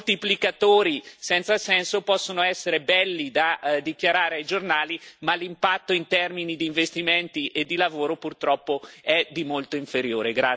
Moltiplicatori senza senso possono essere belli da dichiarare ai giornali, ma l'impatto in termini di investimenti e di lavoro purtroppo è di molto inferiore.